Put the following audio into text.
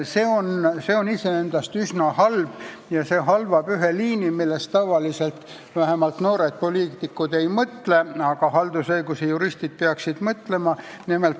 See on iseendast üsna halb, sest halvab ühe tööliini, millest tavaliselt vähemalt noored poliitikud ei mõtle, aga haldusõiguse juristid peaksid mõtlema.